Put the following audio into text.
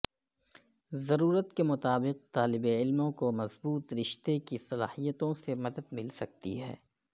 ضرورت کے مطابق طالب علموں کو مضبوط رشتے کی صلاحیتوں سے مدد مل سکتی ہے